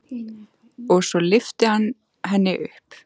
Og svo lyfti hann henni upp.